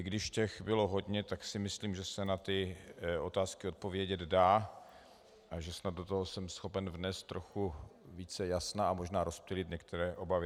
I když těch bylo hodně, tak si myslím, že se na ty otázky odpovědět dá a že snad do toho jsem schopen vést trochu více jasna a možná rozptýlit některé obavy.